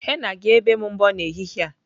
Henna ga-ebe mbọ ya n'ehihie.